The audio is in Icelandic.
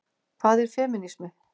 Hvað er femínismi?